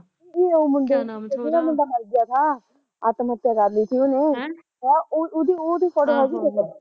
ਨੀ ਉਹ ਮੁੰਡੇ ਜਿਹੜਾ ਮੁੰਡਾ ਮਰਗਿਆ ਥਾ ਆਤਮ ਹੱਤਿਆ ਕਰਲੀ ਤੀ ਉਹਨੇ ਹਮ ਹੈਂ ਉਹਦੀ ਫ਼ੋਟੋ ਹੈਗੀ ਤੇਰੇ ਕੋਲ